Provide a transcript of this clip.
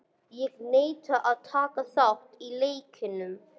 Hann neitar að taka þátt í leiknum.